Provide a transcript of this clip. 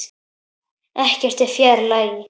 Ekkert er fjær lagi.